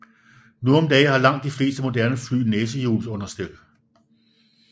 Nu om dage har langt de fleste moderne fly næsehjulsunderstel